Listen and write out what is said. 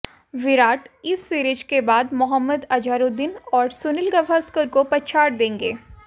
विराट इस सीरीज के बाद मोहम्मद अजहरुद्दीन और सुनील गावस्कर को पछाड़ देंगे